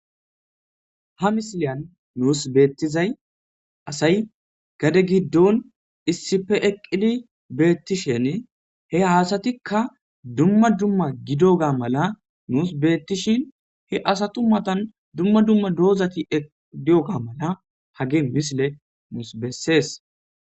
Ha misileyan nuus beettizay asay gade giddon issife eqqidi beettishen he haasatikka dumma dumma gido ga mala nuus beettishin he asatu matan dumma dumma doozati eqidioga mala hage misile nuus bessees